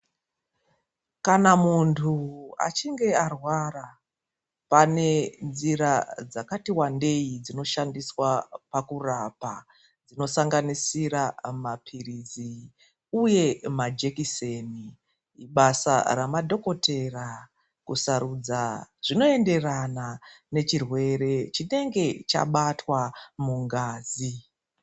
Kana muntu achinge arwara, panenjira dzakati wandeyi dzinoshandiswa pakurapa, dzinosanganisira mapilizi uye majekiseni. Basa remadhokotera kusarudza zvinoenderana nechirwere chinenge chabatwa mungazi.